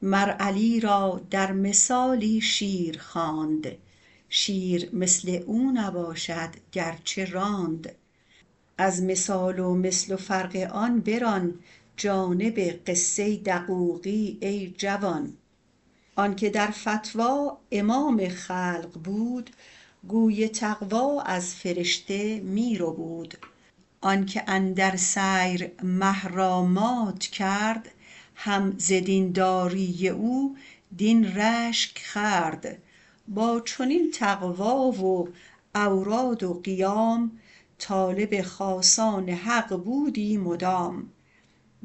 مر علی را در مثالی شیر خواند شیر مثل او نباشد گرچه راند از مثال و مثل و فرق آن بران جانب قصه دقوقی ای جوان آنک در فتوی امام خلق بود گوی تقوی از فرشته می ربود آنک اندر سیر مه را مات کرد هم ز دین داری او دین رشک خورد با چنین تقوی و اوراد و قیام طالب خاصان حق بودی مدام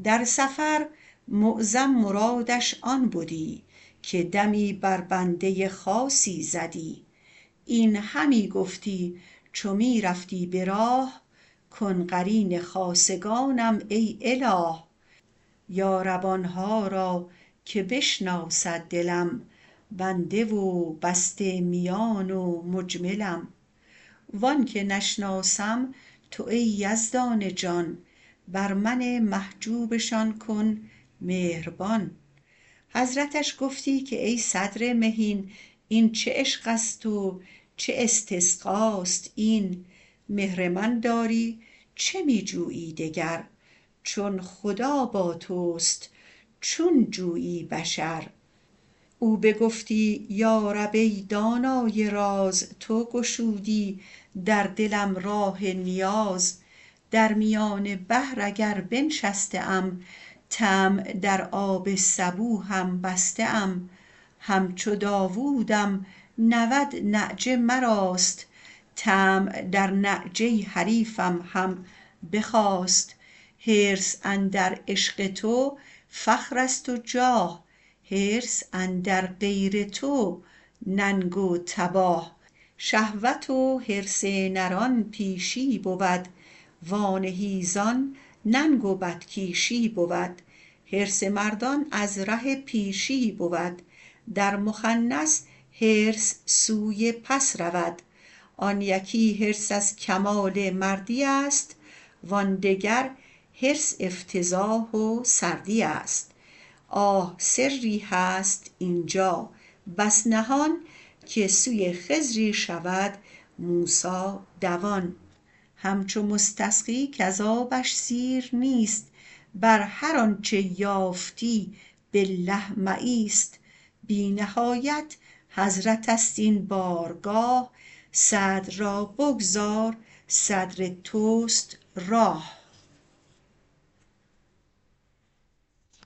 در سفر معظم مرادش آن بدی که دمی بر بنده خاصی زدی این همی گفتی چو می رفتی به راه کن قرین خاصگانم ای اله یا رب آنها را که بشناسد دلم بنده و بسته میان و مجملم و آنک نشناسم تو ای یزدان جان بر من محجوبشان کن مهربان حضرتش گفتی که ای صدر مهین این چه عشقست و چه استسقاست این مهر من داری چه می جویی دگر چون خدا با تست چون جویی بشر او بگفتی یا رب ای دانای راز تو گشودی در دلم راه نیاز درمیان بحر اگر بنشسته ام طمع در آب سبو هم بسته ام همچو داودم نود نعجه مراست طمع در نعجه حریفم هم بخاست حرص اندر عشق تو فخرست و جاه حرص اندر غیر تو ننگ و تباه شهوت و حرص نران بیشی بود و آن حیزان ننگ و بدکیشی بود حرص مردان از ره پیشی بود در مخنث حرص سوی پس رود آن یکی حرص از کمال مردی است و آن دگر حرص افتضاح و سردی است آه سری هست اینجا بس نهان که سوی خضری شود موسی روان همچو مستسقی کز آبش سیر نیست بر هر آنچ یافتی بالله مه ایست بی نهایت حضرتست این بارگاه صدر را بگذار صدر تست راه